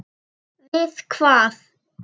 Við hvað?